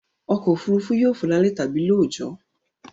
Ọkọ̀-òfurufú yóò fò lálẹ́ tàbí lóòjọ́